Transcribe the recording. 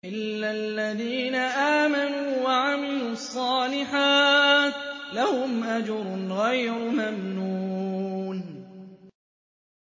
إِلَّا الَّذِينَ آمَنُوا وَعَمِلُوا الصَّالِحَاتِ لَهُمْ أَجْرٌ غَيْرُ مَمْنُونٍ